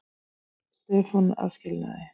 Stefán að skilnaði.